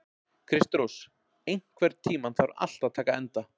Kristrós, einhvern tímann þarf allt að taka enda.